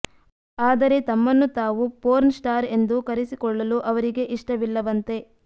ಆದರೆ ತಮ್ಮನ್ನು ತಾವು ಪೋರ್ನ್ ಸ್ಟಾರ್ ಎಂದು ಕರೆಸಿಕೊಳ್ಳಲು ಅವರಿಗೆ ಇಷ್ಟವಿಲ್ಲವಂತೆ